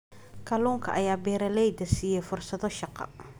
Kalluunka ayaa beeralayda siiya fursado shaqo.